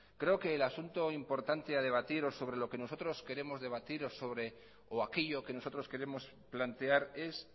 creo que el asunto importante a debatir o sobre lo que nosotros queremos debatir o aquello que nosotros queremos plantear es